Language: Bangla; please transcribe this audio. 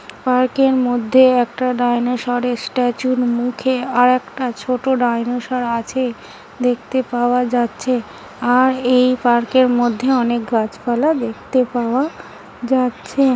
পার্ক -এর মধ্যে একটা ডাইনোসরের স্ট্যাচু -র মুখে আর একটা ছোট ডাইনোসর আছে দেখতে পাওয়া যাচ্ছে আর এই পার্ক -এর মধ্যে অনেক গাছপালা দেখতে পাওয়া যাচ্ছে ।